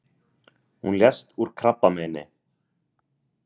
Hún lést úr krabbameini.